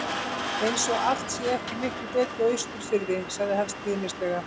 Eins og allt sé ekki miklu betra á Austurfirði. sagði hann stríðnislega.